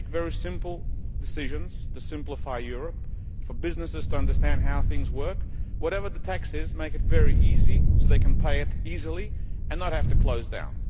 make very simple decisions to simplify Europe for businesses to understand how things work. Whatever the tax is, make it very easy so that they can pay it easily and not have to close down.